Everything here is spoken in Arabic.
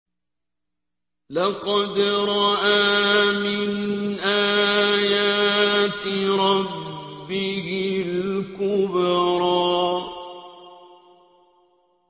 لَقَدْ رَأَىٰ مِنْ آيَاتِ رَبِّهِ الْكُبْرَىٰ